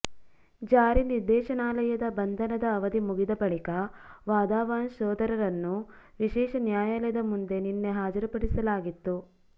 ಜಾರಿ ನಿರ್ದೇಶನಾಲಯದ ಬಂಧನದ ಅವಧಿ ಮುಗಿದ ಬಳಿಕ ವಾಧವಾನ್ಸ್ ಸೋದರರನ್ನು ವಿಶೇಷ ನ್ಯಾಯಾಲಯದ ಮುಂದೆ ನಿನ್ನೆ ಹಾಜರುಪಡಿಸಲಾಗಿತ್ತು